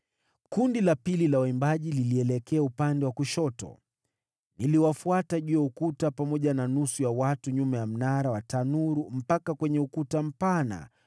Kundi la pili la waimbaji lilielekea upande wa kushoto. Niliwafuata juu ya ukuta, pamoja na nusu ya watu kupitia Mnara wa Tanuru mpaka kwenye Ukuta Mpana,